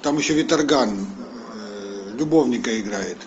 там еще виторган любовника играет